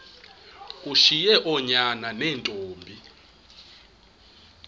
ushiye oonyana neentombi